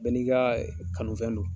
Bɛɛ n'i ka kanufɛn don.